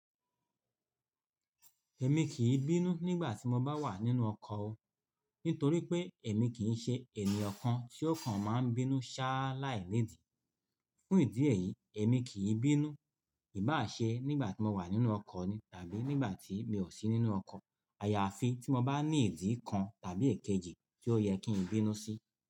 Ẹ̀mi kì í bínú nígbà tí mo bá wà nínú ọkọ̀ o, nítorí pé ẹ̀mì kì í ṣe ẹnìyan kan tí ọ̀kan máa ń bínú ṣá láì nì dìí. Fún ìdí èyí, ẹ̀mì kì í bínú, ìbá à ṣe nígbà mo wà nínú ọkọ̀ ni tàbí nígbà tí mi ò sí nínú ọkọ̀. Ayafi tí mo bá ní ìdí kan tàbí èkejì tí ó yẹ kí n bínú sí.